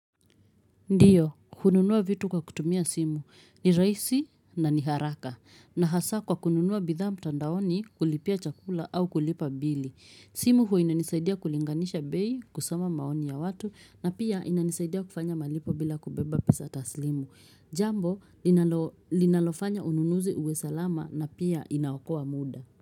Ndiyo, hununua vitu kwa kutumia simu. Ni rahisi na ni haraka. Na hasa kwa bidhaa mtandaoni kulipia chakula au kulipa bili. Simu hua inanisaidia kulinganisha bei, kusoma maoni ya watu, na pia inanisaidia kufanya malipo bila kubeba pesa taslimu. Jambo, linalo linalofanya ununuzi uwe salama na pia inaokoa muda.